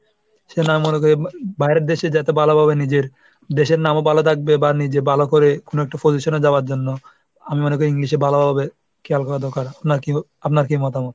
সে না মনে করে বাইরের দেশে যাতে ভালোভাবে নিজের দেশের নামও ভালো থাকবে বা নিজে ভালো করে কোনো একটা position এ যাওয়ার জন্য আমি মনে করি English এ ভালো হবে খেয়াল করা দরকার। নাকি আপনার কি মতামত?